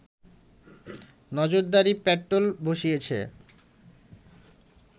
নজরদারি প্যাট্রোল বসিয়েছে